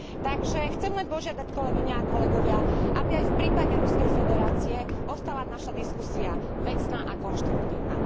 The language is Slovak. Takže chcem len požiadať, kolegyne a kolegovia, aby aj v prípade Ruskej federácie ostala naša diskusia vecná a konštruktívna.